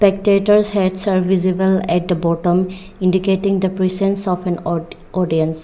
spectators heads are visible at the bottom indicating the persons of an aut audience.